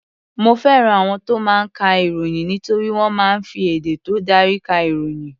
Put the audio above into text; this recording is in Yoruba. Mo fẹ́ràn àwọn tó máa ń ka ìròyìn nítorí wọ́n máa ń fi èdè tó dári ka ìròyìn.